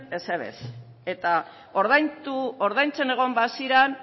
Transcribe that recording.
ezer ere ez eta ordaintzen egon baziran